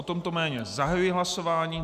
O tomto jméně zahajuji hlasování.